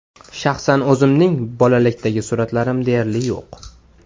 Shaxsan o‘zimni bolalikdagi suratlarim deyarli yo‘q.